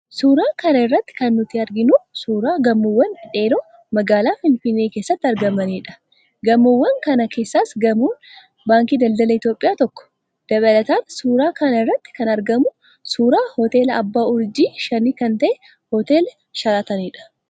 Suuraa kana irratti kan nuti arginu, suuraa gamoowwan dhedheeroo magaalaa Finfinnee keessatti argamaniidha. Gamoowwan kana keessaas gamoon baankii Daldala Itoophiyaa tokko. Dabalataan, suuraa kana irratti kan argamu suuraa hoteela abbaa urjii shanii kan ta'e, hoteela Sharaatanidha.